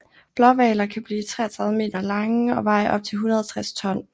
Blåhvaler kan blive 33 meter lange og veje op til 160 ton